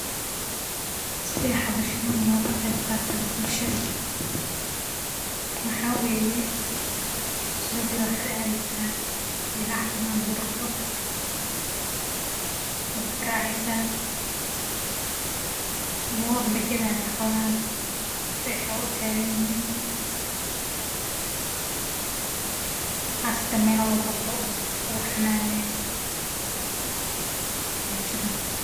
Waxaa weeye, sidi oo kale waxaa aadeysaa melaaha xolaha lagu daqdo, ma waad raaceysaa ama waaba lagadaayo xoolahaan beec ayeey utaganyihin, qaasatan melahalagu daqdo amalagu xanaaneeyo ayaa jiro